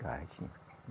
Cai, sim.